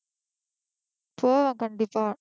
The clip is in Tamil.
போவேன் கண்டிப்பா